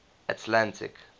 atlantic